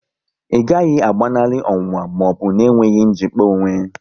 Ị gaghị agbanali ọnwụnwa maọbụ na enweghị njikpa onwe